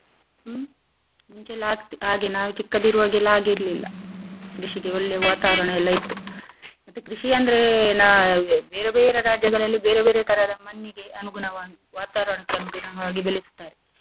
ಹ್ಮ್ ಮುಂಚೆ ಆಕ್~ ಹಾಗೇ ನಾವು ಚಿಕ್ಕದಿರುವಗೆಲ್ಲ ಹಾಗಿರ್ಲಿಲ್ಲ ಕೃಷಿಗೆ ಒಳ್ಳೇ ವಾತಾವರ್ಣ ಎಲ್ಲ ಇತ್ತು, ಮತ್ತೆ ಕೃಷಿ ಅಂದ್ರೆ ಎ ನಾ~ ಬೇರೇ ಬೇರೇ ರಾಜ್ಯಗಳಲ್ಲಿ ಬೇರೇ ಬೇರೇ ತರದ ಮಣ್ಣಿಗೆ ಅನುಗುಣವಾಗಿ ವಾತಾವರ್ಣಕ್ಕನುಗುಣವಾಗಿ ಬೆಳೆಸ್ತಾರೆ .